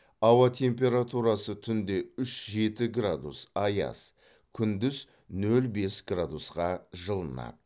ауа температурасы түнде үш жеті градус аяз күндіз нөл бес градусқа жылынады